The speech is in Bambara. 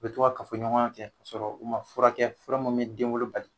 U bɛ to ka kafoɲɔgɔnya kɛ fɔ ɲɔgɔn kasɔrɔ u ma fura fura min bɛ denwolo bali